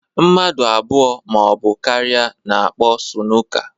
Mmadụ abụọ ma ọ bụ karịa na-akpọ sunuka